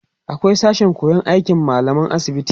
akwai sashen koyan aikin mallaman asibiti